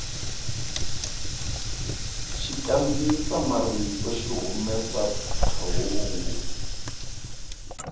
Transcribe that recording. xikandziyisa marito xi humesa phephahungu